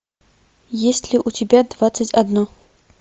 есть ли у тебя двадцать одно